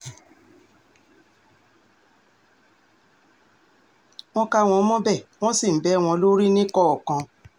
wọ́n kà wọ́n mọ́bẹ̀ wọ́n sì ń bẹ́ wọn lórí níkọ̀ọ̀kan